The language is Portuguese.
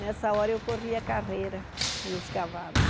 Nessa hora eu corria carreira nos cavalos.